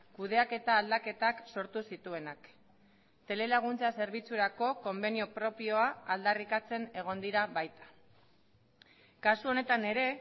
kudeaketa aldaketak sortu zituenak telelaguntza zerbitzurako konbenio propioa aldarrikatzen egon dira baita kasu honetan ere